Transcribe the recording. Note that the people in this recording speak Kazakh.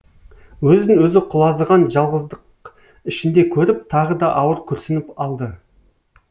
өзін өзі құлазыған жалғыздық ішінде көріп тағы да ауыр күрсініп алды